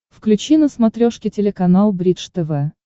включи на смотрешке телеканал бридж тв